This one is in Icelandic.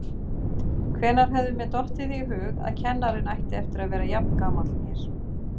Hvenær hefði mér dottið í hug að kennarinn ætti eftir að vera jafngamall mér!